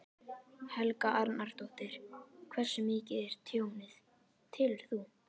Helga Arnardóttir: Hversu mikið er tjónið, telur þú?